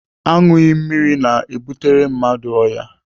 Aṅụghị mmiri na-ebutere m ọrịa.